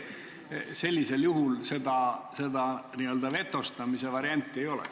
Sellisel juhul vetostamise varianti ei ole.